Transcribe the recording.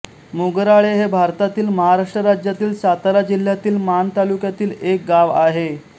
मोगराळे हे भारतातील महाराष्ट्र राज्यातील सातारा जिल्ह्यातील माण तालुक्यातील एक गाव आहे